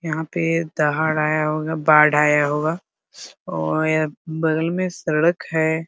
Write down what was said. यहाँ पे दहाड़ आया होगा बाढ़ आया होगा और बगल में सड़क है ।